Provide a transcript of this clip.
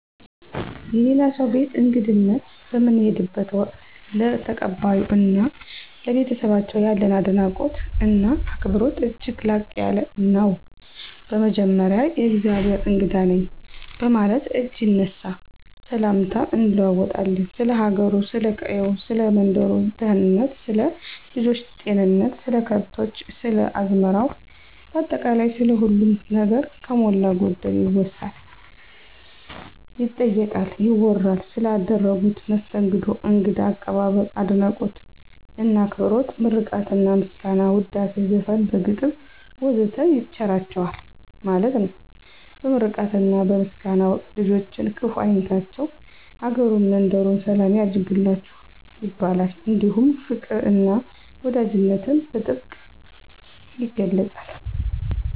የሌላ ሰው ቤት በእንግድነት በምንሄድበት ወቅት፣ ለተቀባዮ እና ለቤተሰባቸው ያለን አድናቆት እና አክብሮት እጅግ ላቅ ያለ ነው። በመጀመሪያ የእግዜሄር እንግዳ ነኝ በማለት እጅ ይነሳ፣ ሰላምታም እንለዋወጣለን፣ ስለ ሀገሩ፥ ስለ ቀየው፥ ሰለ መንደሩ ደህንነት፥ ስለ ልጆች ጤንነት፥ ስለ ከብቶች፥ ስለ አዝመራው ባጠቃላይ ስለ ሁሉም ነገር ከሞላ ጎደል ይወሳል፥ ይጠየቃል፥ ይወራል። ስለ አደረጉት መስተንግዶ እንግዳ አቀባበል፤ አድናቆት እና አክብሮት ምርቃትና ምስጋና፣ ውዳሴ፣ ዘፈን፣ በግጥም ወዘተ ይቸራቸዋል ማለት ነው። በምርቃትና በምስጋና ወቅት ልጆችን ክፍ አይንካቸቸው፤ አገሩን መንደሩን ሰላም ያርግላችሁ ይባላል። እንዲሁም ፋቅር እና ወዳጅነትን በጥብቅ ይገለፃል።